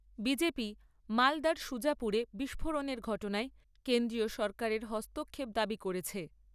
BJP, মালদার সুজাপুরে বিস্ফোরণের ঘটনায় কেন্দ্রীয় সরকারের হস্তক্ষেপ দাবি করেছে।